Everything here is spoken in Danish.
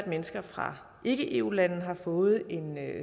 mennesker fra ikke eu lande har fået en